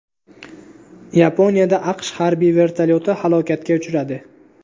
Yaponiyada AQSh harbiy vertolyoti halokatga uchradi.